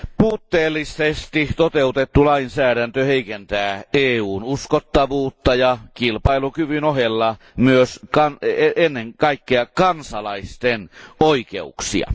Puutteellisesti toteutettu lainsäädäntö heikentää EUn uskottavuutta ja kilpailukyvyn ohella myös ennen kaikkea kansalaisten oikeuksia.